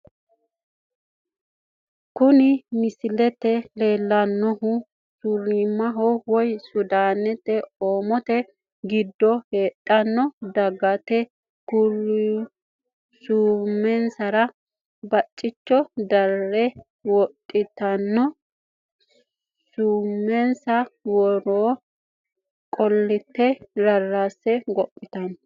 Kuni misilete la'neemohu, surimaho woy sudaani oomote gido heedhanno dagati kuriu suumensara bacicho dare wodhatenni suumensa woro qolite rarase gophitano